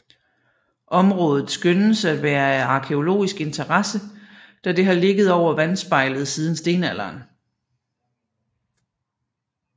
Området skønnes af være af arkæologisk interesse da det har ligget over vandspejlet siden stenalderen